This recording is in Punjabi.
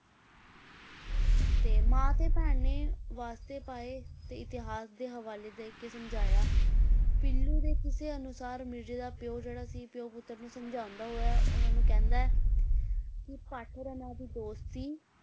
ਤੇ ਮਾਂ ਤੇ ਭੈਣ ਨੇ ਵਾਸਤੇ ਪਾਏ ਤੇ ਇਤਿਹਾਸ ਦੇ ਹਵਾਲੇ ਦੇ ਕੇ ਸਮਝਾਇਆ, ਪੀਲੂ ਦੇ ਕਿੱਸੇ ਅਨੁਸਾਰ ਮਿਰਜ਼ੇ ਦਾ ਪਿਓ ਜਿਹੜਾ ਸੀ ਪਿਓ ਪੁੁੱਤਰ ਨੂੰ ਸਮਝਾਉਂਦਾ ਹੋੋੋਇਆ ਉਹਨਾਂ ਨੂੰ ਕਹਿਦਾ ਹੈ ਕਿ ਭੱਠ ਰੰਨਾਂ ਦੀ ਦੋਸਤੀ,